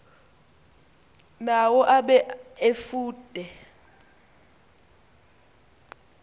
nawo abe efude